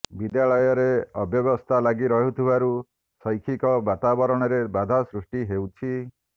ବିଦ୍ୟାଳୟରେ ଅବ୍ୟବସ୍ଥା ଲାଗି ରହୁଥିବାରୁ ଶୈକ୍ଷିକ ବାତାବରଣରେ ବାଧା ସୃଷ୍ଟି ହେଉଛି